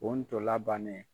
O ntolan bannen.